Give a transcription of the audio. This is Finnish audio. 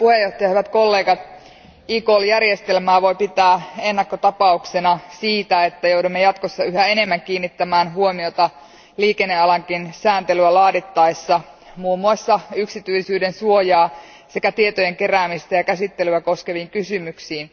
Arvoisa puhemies, hyvät kollegat, eCall järjestelmää voi pitää ennakkotapauksena siitä, että joudumme jatkossa yhä enemmän kiinnittämään huomiota liikennealankin sääntelyä laadittaessa muun muassa yksityisyyden suojaa sekä tietojen keräämistä ja käsittelyä koskeviin kysymyksiin.